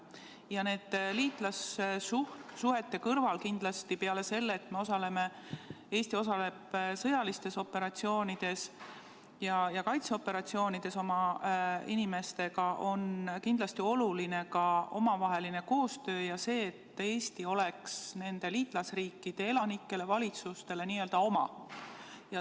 Ja nende liitlassuhete puhul peale selle, et Eesti osaleb sõjalistes operatsioonides ja kaitseoperatsioonides oma inimestega, on kindlasti oluline ka omavaheline koostöö ning see, et Eesti oleks nende liitlasriikide elanikele ja valitsustele n-ö oma.